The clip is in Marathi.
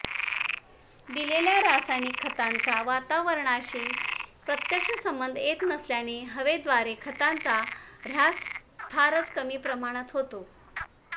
दिलेल्या रासायनिक खतांचा वातावरणाशी प्रत्यक्ष संबंध येत नसल्याने हवेद्वारे खतांचा ऱ्हास फारच कमी प्रमाणात होतो